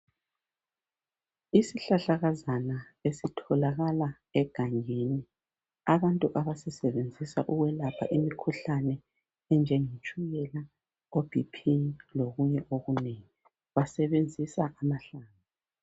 Isihlahlakazana esitholakala egangeni abantu abasisebenzisa ukwelapha imikhuhlane enjengetshukela oBP lokunye okunengi basebenzisa amahlamvu